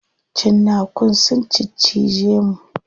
Cinnakun sun ciccije mu.